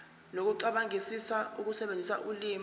nokucabangisisa ukusebenzisa ulimi